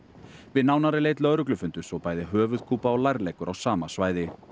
við nánari leit lögreglu fundust svo bæði höfuðkúpa og á sama svæði